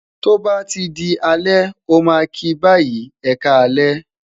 to ba ti di alẹ, o ma ki bayi, e ka alẹ,